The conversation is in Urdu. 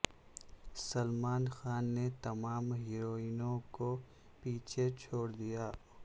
سلمان خان نے تمام ہیروئینوں کو پیچھے چھوڑ دیا